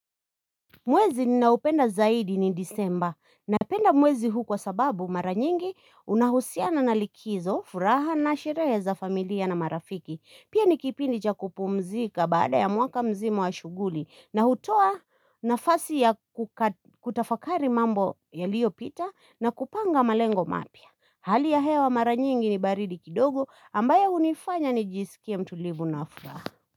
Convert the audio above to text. Mwezi ninaupenda zaidi ni disemba na penda mwezi huu kwa sababu mara nyingi unahusiana na likizo furaha na sherehe za familia na marafiki Pia ni kipindi cha kupumzika baada ya mwaka mzima wa shuguli na hutoa nafasi ya kutafakari mambo yaliopita na kupanga malengo mapya Hali ya hewa mara nyingi ni baridi kidogo ambayo unifanya nijisikie mtulivu na furaha.